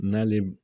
N'ale